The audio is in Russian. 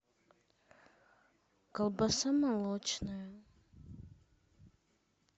колбаса молочная